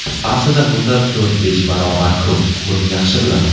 Aslida bundan to‘rt-besh barobar ko‘p, buni yaxshi bilaman.